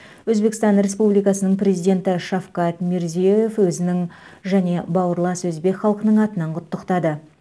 өзбекстан республикасының президенті шавкат мирзиеев өзінің және бауырлас өзбек халқының атынан құттықтады